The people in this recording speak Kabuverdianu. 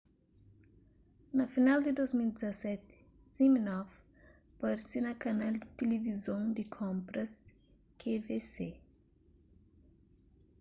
na final di 2017 siminoff parse na kanal di tilivizon di konpras qvc